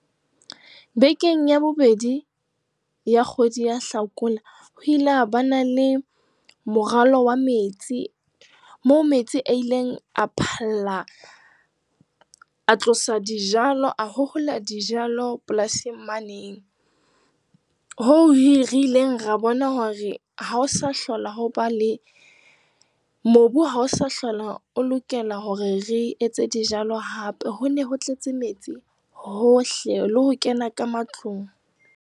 Bekeng ya bobedi ya kgwedi ya Hlakola, ho ile ha ba le morwallo wa metsi, moo metsi a ileng a phalla, a tlosa dijalo, a hohola dijalo polasing mane hoo re ileng ra bona hore mobu ha o sa hlola o lokela hore re etse dijalo, hape ho ne ho tletse metsi hohle, le ho kena ka matlung.